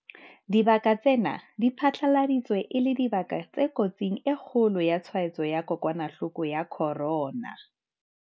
Dibaka tsena di phatlaladitswe e le dibaka tse kotsing e kgolo ya tshwaetso ya kokwanahloko ya corona.